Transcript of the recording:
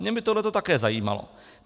Mě by tohle také zajímalo.